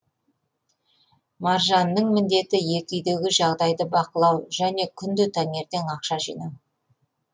маржанның міндеті екі үйдегі жағдайды бақылау және күнде таңертең ақша жинау